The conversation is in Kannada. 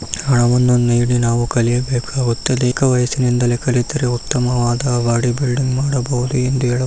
ನಾವು ನಮ್ಮ ಏಜಿನಲ್ಲಿ ಕಲಿಯಬೇಕಾಗುತ್ತದೆ ಈಗ ವಯಸ್ಸಿನಲ್ಲಿ ಕಲಿತರೆ ಉತ್ತಮವಾದ ಬಾಡಿ ಬಿಲ್ಡಿಂಗ್ ಮಾಡಬಹುದು ಎಂದು ಹೇಳ --